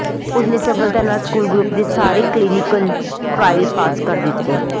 ਉਸ ਨੇ ਸਫਲਤਾ ਨਾਲ ਸਕੂਲ ਗਰੁੱਪ ਦੇ ਸਾਰੇ ਕਲੀਨਿਕਲ ਟਰਾਇਲ ਪਾਸ ਕਰ ਦਿੱਤਾ